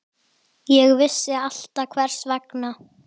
Mamma var ótrúleg kona.